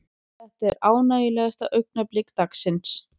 Þetta er ánægjulegasta augnablik dagsins.